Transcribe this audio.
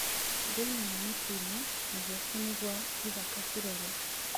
Thĩinĩ nĩ mũtune, na guoko nĩ gwa gĩthaka kĩruru